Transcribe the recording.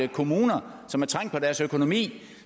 kommuner som er trængt på deres økonomi